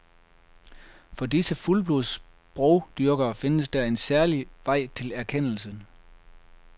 For disse fuldblods sprogdyrkere findes der en særlig vej til erkendelsen.